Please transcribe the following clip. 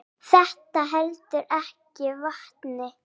Þetta heldur ekki vatni.